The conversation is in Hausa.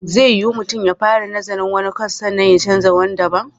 Zai yiwu mutum ya fara nazarin wani kwas sannan ya canza zuwa wani daban?